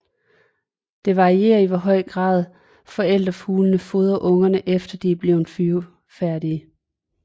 Det varierer i hvor høj grad forældrefuglene fodrer ungerne efter de er blevet flyvefærdige